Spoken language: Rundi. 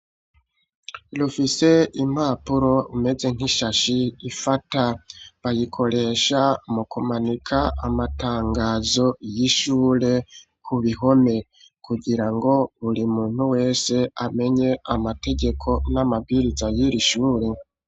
Lufise impapuro imeze nk'ishashi ifata, bayikoresha mu kumanika amatangazo y'ishure ku bihome, kugira ngo buri muntu wese amenye amategeko n'amabwiriza yir ishure.